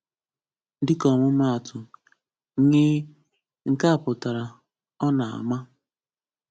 Dịka ọmụmaatụ: “ń” (nke a pụtara “Ọ na-ama.”)